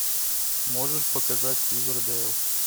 можешь показать ривердейл